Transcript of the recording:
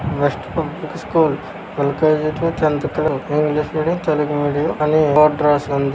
Best public school L K G to tenth . English medium Telugu medium అని board రాసి ఉంది.